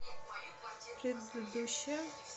предыдущая